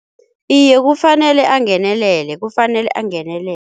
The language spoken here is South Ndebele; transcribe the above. Iye kufanele angenelele, kufanele angenele